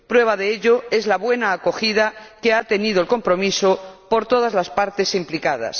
Prueba de ello es la buena acogida que ha tenido el compromiso por todas las partes implicadas.